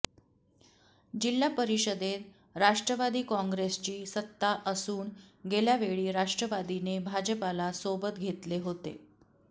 जिल्हा परिषदेत राष्ट्रवादी काँग्रेसची सत्ता असून गेल्यावेळी राष्ट्रवादीने भाजपाला सोबत घेतले होते